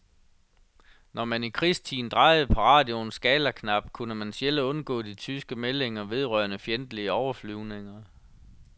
Når man i krigstiden drejede på radioens skalaknap, kunne man sjældent undgå de tyske meldinger vedrørende fjendtlige overflyvninger.